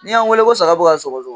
N'yan wele ko saga bɛ ka sɔgɔsɔgɔ.